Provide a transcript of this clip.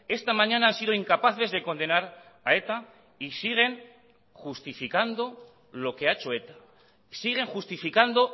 esta mañana han sido incapaces de condenar a eta y siguen justificando lo que ha hecho eta siguen justificando